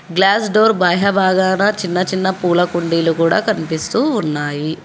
Glass door బాగాన చిన్న చిన్న పూల కుండీలు కూడా కనిపిస్తూ ఉన్నాయి.